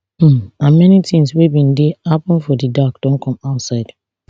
um and many tins wey bin dey happun for di dark don come outside